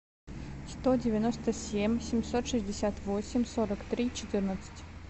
сто девяносто семь семьсот шестьдесят восемь сорок три четырнадцать